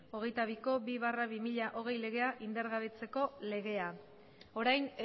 hogeita biko bi barra bi mila hogei legea indargabetzeko legea orain